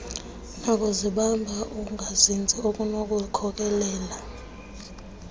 nakuzibamba ukungazinzi okunokukhokelela